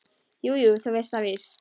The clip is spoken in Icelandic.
Jú, þú veist það víst.